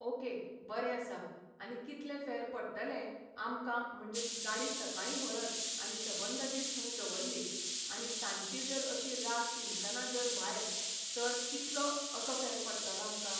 Okay बरें आसा आनी कितलें फेर पडटलें आमकां म्हणजे गाडी सकाळीं व्हरत आनी सबंद दीस थंय दवरली. आनी सांजची जर अशी रात तिनसांजा जर भायर सर कितलो असो फेर पडटलो आमकां